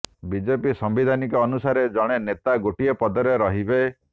BJP ସାମ୍ବିଧାନ ଅନୁସାରେ ଜଣେ ନେତା ଗୋଟିଏ ପଦରେ ରହିବେ